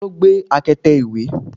taló gbé akete ìwẹ̀?